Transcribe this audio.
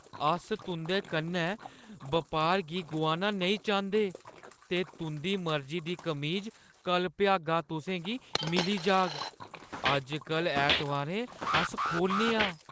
अस तुंʼदे कन्नै बपार गी गोआना नेईं चांह्दे ते तुंʼदी मर्जी दी कमीज कल्ल भ्यागा तुसेंगी मिली जाह्‌ग। अजकल्ल ऐतबारें अस खोह्‌लने आं।